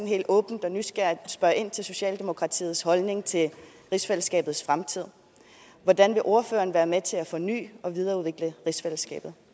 helt åbent og nysgerrigt spørge ind til socialdemokratiets holdning til rigsfællesskabets fremtid hvordan vil ordføreren være med til at forny og videreudvikle rigsfællesskabet